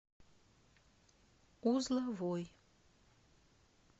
узловой